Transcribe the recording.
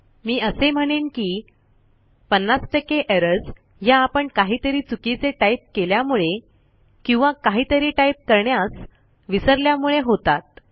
मी असे म्हणेन की 50 एरर्स ह्या आपण काहीतरी चुकीचे टाईप केल्यामुळे किंवा काहीतरी टाईप करण्यास विसरल्यामुळे होतात